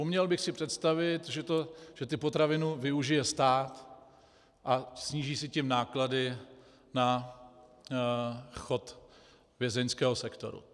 Uměl bych si představit, že ty potraviny využije stát a sníží si tím náklady na chod vězeňského sektoru.